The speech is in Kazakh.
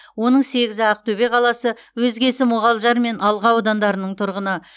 оның сегізі ақтөбе қаласы өзгесі мұғалжар мен алға аудандарының тұрғыны